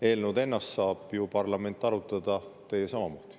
Eelnõu ennast saab ju parlament arutada, teie saate samamoodi.